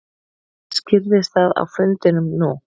Skýrðist það á fundinum nú?